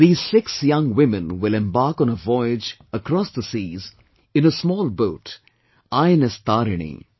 These six young women will embark on a voyage across the seas, in a small boat, INS Tarini